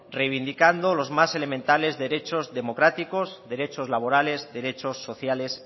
reivindicando los más elementales derechos democráticos derechos laborales derechos sociales